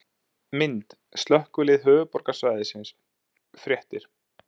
Mynd: Slökkvilið Höfuðborgarsvæðisins- Fréttir